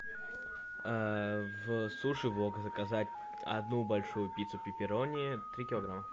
в суши вок заказать одну большую пиццу пепперони три килограмма